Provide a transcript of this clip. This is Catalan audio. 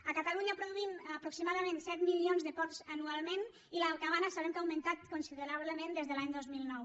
a catalunya produïm aproximadament set milions de porcs anualment i la cabana sabem que ha augmentat considerablement des de l’any dos mil nou